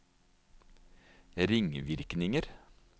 ringvirkninger